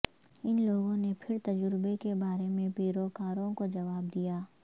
ان لوگوں نے پھر تجربے کے بارے میں پیروکاروں کو جواب دیا